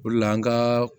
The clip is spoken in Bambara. O de la an ka